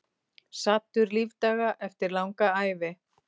Saddur lífdaga eftir langa ævi.